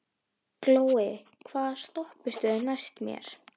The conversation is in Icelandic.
Glói, hvaða stoppistöð er næst mér?